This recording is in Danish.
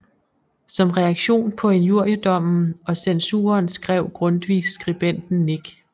Som reaktion på injuriedommen og censuren skrev Grundtvig Skribenten Nik